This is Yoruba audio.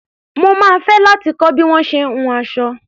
Mo máa fẹ́ láti kọ́ bí wọ́n ṣe ń hun aṣọ.